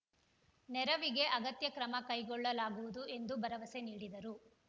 ನೆರವಿಗೆ ಅಗತ್ಯ ಕ್ರಮ ಕೈಗೊಳ್ಳಲಾಗುವುದು ಎಂದು ಭರವಸೆ ನೀಡಿದರು